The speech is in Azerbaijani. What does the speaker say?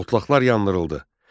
Otlaklar yandırıldı.